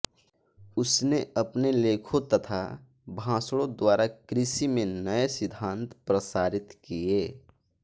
उसने अपने लेखों तथा भाषणों द्वारा कृषि में नए सिद्धान्त प्रसारित किए